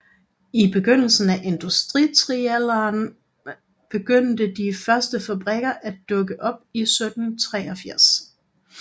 I begyndelsen af industrialderen begyndte de første fabrikker at dukke op i 1783